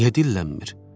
Niyə dillənmir?